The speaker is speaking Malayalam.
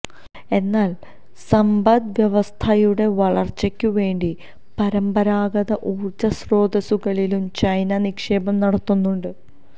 എന്നാല് സമ്പദ് വ്യവസ്ഥയുടെ വളര്ച്ചയ്ക്കുവേണ്ടി പരമ്പരാഗത ഊര്ജസ്രോതസുകളിലും ചൈന നിക്ഷേപം നടത്തുന്നുണ്ട്